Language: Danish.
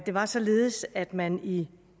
var således at man i